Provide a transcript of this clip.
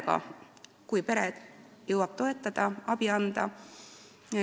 Ta võib minna koju pere juurde, kui pere jõuab toetada ja abi anda.